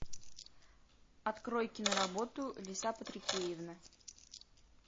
открой киноработу лиса патрикеевна